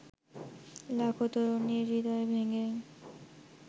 লাখো তরুণীর হৃদয় ভেঙে